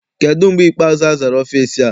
Kedụ mgbe ikpeazụ azara ọfịịsi a?